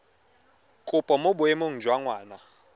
kopo mo boemong jwa ngwana